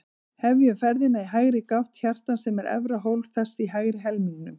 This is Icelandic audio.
Hefjum ferðina í hægri gátt hjartans, sem er efra hólf þess í hægri helmingnum.